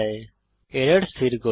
এখন এরর স্থির করি